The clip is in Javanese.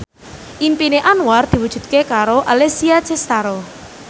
impine Anwar diwujudke karo Alessia Cestaro